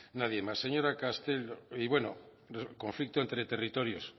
nadie más y bueno conflicto entre territorios